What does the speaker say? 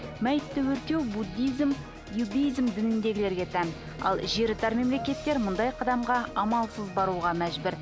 мәйітті өртеу буддизм иудизм дінідегілерге тән ал жері тар мемлекеттер мұндай қадамға амалсыз баруға мәжбүр